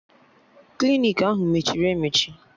Klinik ahụ mechiri emechi